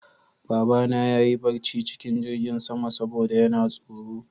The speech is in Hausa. Babana ya yi barci cikin jingin sama saboda yana tsoro